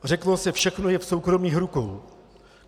Řeklo se, všechno je v soukromých rukou.